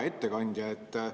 Hea ettekandja!